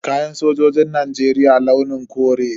Kayan sojin Najeriya launin kore ne.